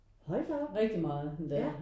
Hold da op ja